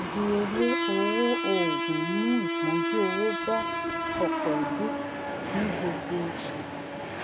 ìdíyelé owó òògùn ń mú ìpọnjú owó bá ọpọ ẹbí ní gbogbo oṣù